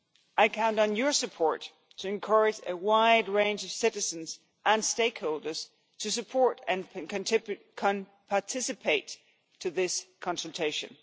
I count on your support to encourage a wide range of citizens and stakeholders to support and participate in this consultation.